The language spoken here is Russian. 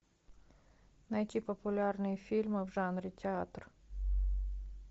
найти популярные фильмы в жанре театр